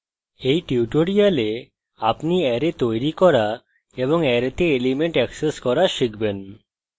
in tutorial আপনি array তৈরী arrays এবং অ্যারেতে elements access arrays শিখবেন